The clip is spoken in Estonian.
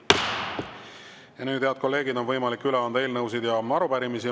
Ja nüüd, head kolleegid, on võimalik üle anda eelnõusid ja arupärimisi.